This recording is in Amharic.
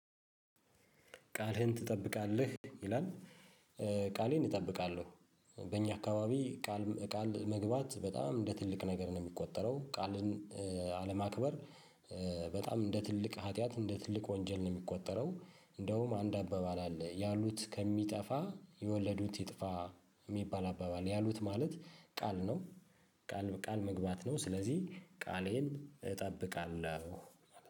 ቃልህን ትጠብቃለህ ይላል? ቃሌን እጠብቃለሁ። በእኛ አካባቢ ቃል ቃል መግባት በጣም እንደ ትልቅ ነገር ነው የሚቆጠረው ቃልን። አለማክበር በጣም እንደ ትልቅ ሀጥያት እንደ ትልቅ ወንጀል ነው የሚቆጠረው። እንደውም አንድ አባባል አለ ያሉት ከሚጠፋ የወለዱት ይጥፋ የሚባል አባባል ያሉት ማለት ቃል ነው። ቃል ቃል መግባት ነው ስለዚህ ቃሌን እጠብቃለሁ